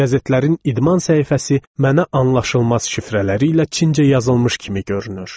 Qəzetlərin idman səhifəsi mənə anlaşılmaz şifrələri ilə çincə yazılmış kimi görünür.